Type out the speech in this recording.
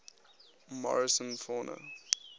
morrison fauna